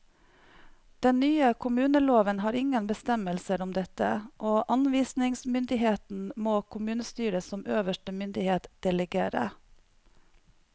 Den nye kommuneloven har ingen bestemmelser om dette, og anvisningsmyndigheten må kommunestyret som øverste myndighet delegere.